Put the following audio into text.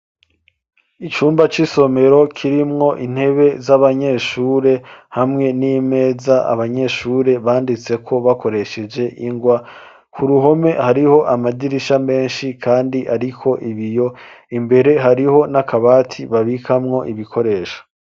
Icumba c'isomero kirimwo intebe z'abanyeshure hamwe n'imeza abanyeshure banditseko bakoresheje ingwa ku ruhome hariho amadirisha menshi, kandi, ariko ibiyo imbere hariho n'akabati babikamwo ibikoresho.